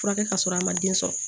Furakɛ ka sɔrɔ a ma den sɔrɔ